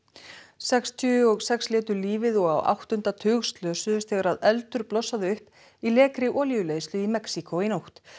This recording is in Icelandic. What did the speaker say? sextíu og sex létu lífið og á áttunda tug slösuðust þegar eldur blossaði upp í lekri olíuleiðslu í Mexíkó í nótt